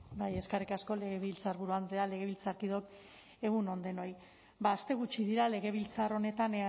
eskerrik asko legebiltzarburu andrea legebiltzarkideok egun on denoi aste gutxi dira legebiltzar honetan